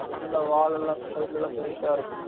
நல்லா வால் எல்லாம் side ல எல்லாம் நல்லா பேருசா இருக்கும்